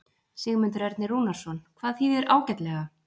Sigmundur Ernir Rúnarsson: Hvað þýðir ágætlega?